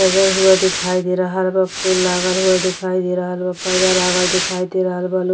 सजा हुआ दिखाई दे रहल बा। फूल लागल हुआ दिखाई दे रहल बा। पर्दा लागल दिखाई दे रहल बा लो --